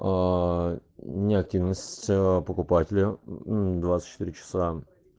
неактивность покупателя двадцать четыре часа